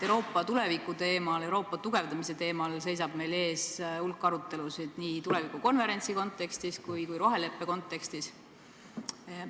Euroopa tuleviku teemal, Euroopa tugevdamise teemal seisab meil ees hulk arutelusid, ja seda nii tulevikukonverentsi kontekstis kui roheleppe kontekstis.